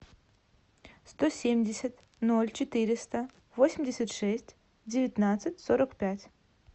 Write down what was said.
сто семьдесят ноль четыреста восемьдесят шесть девятнадцать сорок пять